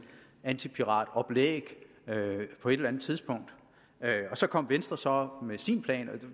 antipiratoplæg på et eller andet tidspunkt og så kom venstre så med sin plan